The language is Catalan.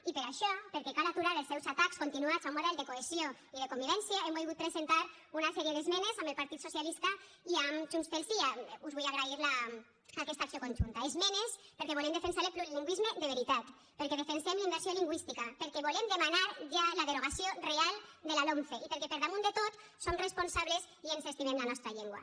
i per això perquè cal aturar els seus atacs continuats a un model de cohesió i de convivència hem volgut presentar una sèrie d’esmenes amb el partit socialista i amb junts pel sí us vull agrair aquesta acció conjunta esmenes perquè volem defensar el plurilingüisme de veritat perquè defensem la immersió lingüística perquè volem demanar ja la derogació real de la lomce i perquè per damunt de tot som responsables i ens estimem la nostra llengua